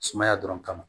Sumaya dɔrɔn kama